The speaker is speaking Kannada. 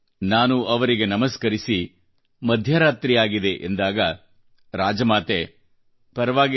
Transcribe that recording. ನಾನು ಅವರಿಗೆ ನಮಸ್ಕರಿಸಿ ಈಗಾಗಲೇ ಮಧ್ಯರಾತ್ರಿಯಾಗಿದೆ ಎಂದಾಗ ರಾಜಮಾತೆ ಬೇಟ ಮೋದೀಜೀ ಪರವಾಗಿಲ್ಲ